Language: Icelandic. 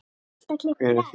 Hver er þín?